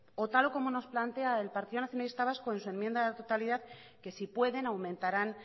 o tal y como nos plantea el partido nacionalista vasco en su enmienda a la totalidad que si pueden aumentarán